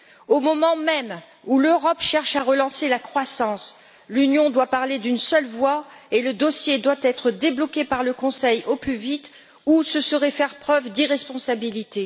Au moment même où l'Europe cherche à relancer la croissance, l'Union doit parler d'une seule voix et le dossier doit être débloqué par le Conseil au plus vite, ou ce serait faire preuve d'irresponsabilité.